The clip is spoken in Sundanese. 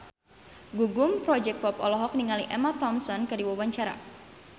Gugum Project Pop olohok ningali Emma Thompson keur diwawancara